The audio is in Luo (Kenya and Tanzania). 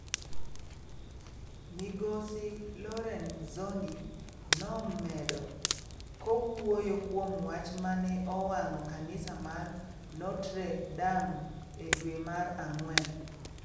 Migosi Lorenzoni nomedo, kowuoyo kuom mach mane owang'o kanisa mar Notre-Dame e dwe mar Ang'wen.